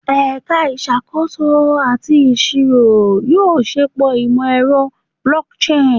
Ẹka Isakoso ati Iṣiro yoo ṣepọ imọ-ẹrọ blockchain